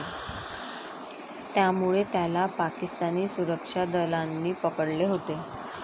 त्यामुळे त्याला पाकिस्तानी सुरक्षा दलांनी पकडले होते.